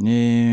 Ni